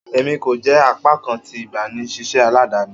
Emi ko jẹ apakan ti igbanisiṣẹ aladani